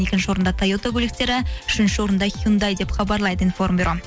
екінші орында тойота көліктері үшінші орында хюндай деп хабарлайды информ бюро